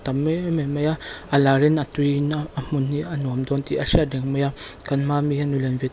tam em em mai a a lar in a tui in a hmun hi a nuam dawn tih a hriat reng mai a kan hma ami hi nu lian ve--